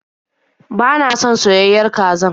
Ba na son soyayen kazar.